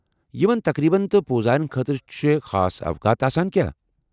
یمن تقریٖبن تہٕ پوزاین خٲطرٕ چھا خاص اوقات آسان کیاہ؟